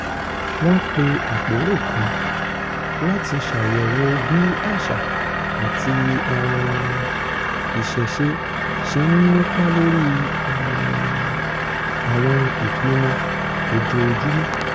wọ́n pe àpérò kan láti ṣàyẹ̀wò bí àṣà àti um ìṣẹ̀ṣe ṣe ń nípa lórí um àwọn ìpinnu ojoojúmọ́